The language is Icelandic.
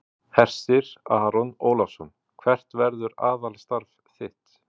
Hersir Aron Ólafsson: Hvert verður aðalstarf þitt?